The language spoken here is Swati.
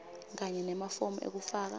kanye nemafomu ekufaka